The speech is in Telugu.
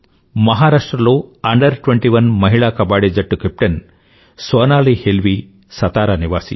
మహారాష్ట్ర లో అండర్21 మహిళా కబడ్డి జట్టు కేప్టెన్ సోనాలీ హేల్వీ సతారా నివాసి